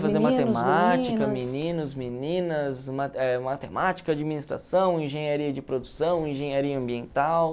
meninos, meninas, ma eh matemática, administração, engenharia de produção, engenharia ambiental.